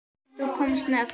Sem þú komst með.